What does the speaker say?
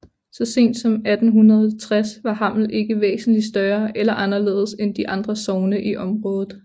Så sent som i 1860 var Hammel ikke væsentligt større eller anderledes end de andre sogne i området